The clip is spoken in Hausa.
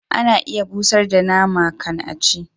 Ana iya busar da nama kan a ci